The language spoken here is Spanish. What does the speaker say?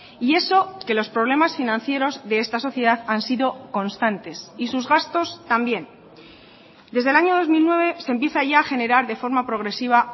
y eso que los problemas financieros de esta sociedad han sido constantes y sus gastos también desde el año dos mil nueve se empieza ya a generar de forma progresiva